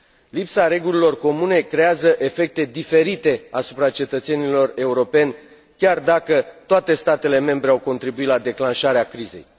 Lipsa regulilor comune creează efecte diferite asupra cetățenilor europeni, chiar dacă toate statele membre au contribuit la declanșarea crizei.